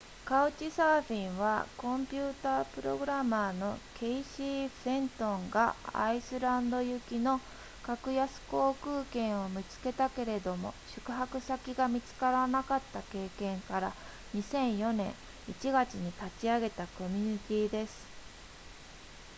カウチサーフィンはコンピュータプログラマーのケイシーフェントンがアイスランド行きの格安航空券を見つけたけれども宿泊先が見つらなかった経験から2004年1月に立ち上げたコミュニティです